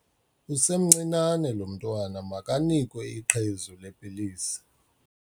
Usemncinane lo mntwana makanikwe iqhezu lepilisi.